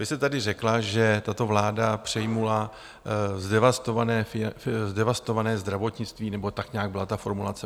Vy jste tady řekla, že tato vláda přejala zdevastované zdravotnictví, nebo tak nějak byla ta formulace.